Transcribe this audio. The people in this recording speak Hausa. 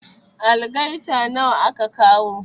Algaita nawa aka kawo?